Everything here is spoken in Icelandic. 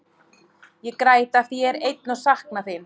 Ég græt af því að ég er einn og sakna þín.